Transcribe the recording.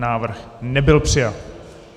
Návrh nebyl přijat.